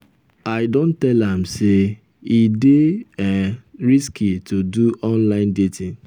i don tell am sey e dey um risky to do online dating. um